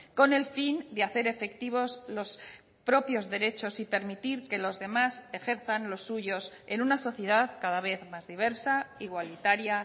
con el fin de hacer efectivos los propios derechos y permitir que los demás ejerzan los suyos en una sociedad cada vez más diversa igualitaria